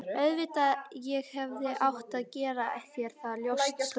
Auðvitað, ég hefði átt að gera mér það ljóst strax.